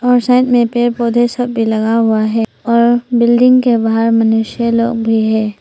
और साथ में पेड़ पौधे सब भी लगाया हुआ है और बिल्डिंग के बाहर मनुष्य लोग भी है।